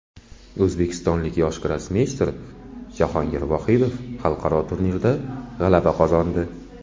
O‘zbekistonlik yosh grossmeyster Jahongir Vohidov xalqaro turnirda g‘alaba qozondi.